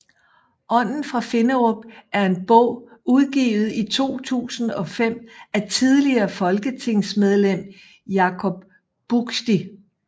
Ånden fra Finderup er en bog udgivet i 2005 af tidligere folketingsmedlem Jacob Buksti